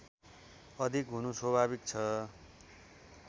अधिक हुनु स्वाभाविक छ